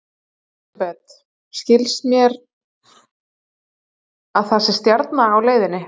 Elísabet: Svo skilst mér að það sé stjarna á leiðinni?